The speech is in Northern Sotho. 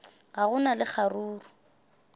ga go na le kgaruru